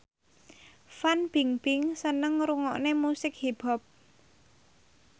Fan Bingbing seneng ngrungokne musik hip hop